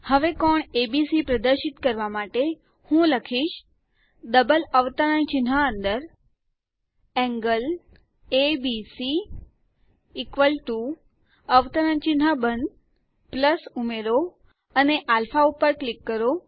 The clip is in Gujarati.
હવે કોણ એબીસી પ્રદર્શિત કરવા માટે હું લખીશ ડબલ અવતરણ ચિહ્ન અંદર એન્ગલ એબીસી અવતરણ ચિહ્ન બંધ ઉમેરો અને અલ્ફા ઉપર ક્લિક કરો